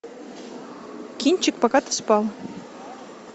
кинчик пока ты спал